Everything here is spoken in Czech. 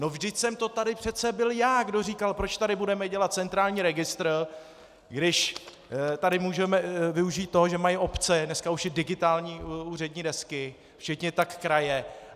No vždyť jsem to tady přece byl já, kdo říkal: Proč tady budeme dělat centrální registr, když tady můžeme využít toho, že mají obce dneska už i digitální úřední desky, stejně tak kraje?